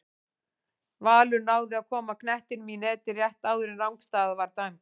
Valur náði að koma knettinum í netið rétt áðan en rangstaða var dæmd.